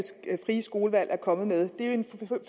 frie skolevalg er kommet med det er en